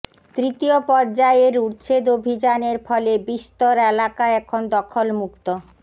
তৃতীয় পর্যায়ের উচ্ছেদ অভিযানের ফলে বিস্তর এলাকা এখন দখলমুক্ত